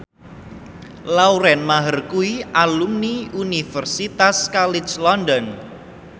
Lauren Maher kuwi alumni Universitas College London